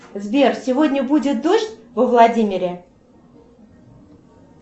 сбер сегодня будет дождь во владимире